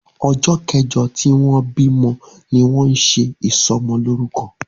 ojó kèje tí wón bí mọ ní wón ṣe isomo loruko.